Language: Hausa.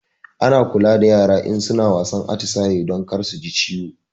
Ana kula da yara in suna wasan atisaye don kar suji ciwo